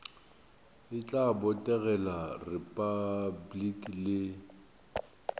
e tla botegela repabliki le